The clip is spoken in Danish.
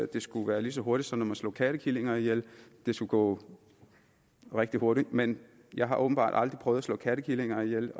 det skulle gå lige så hurtigt som når man slår kattekillinger ihjel det skulle gå rigtig hurtigt men jeg har åbenbart aldrig prøvet at slå kattekillinger ihjel